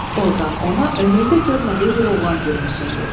Ordan ona ömründə görmədiyi bir oğlan gülümsündü.